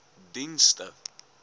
dienste